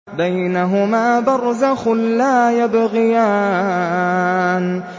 بَيْنَهُمَا بَرْزَخٌ لَّا يَبْغِيَانِ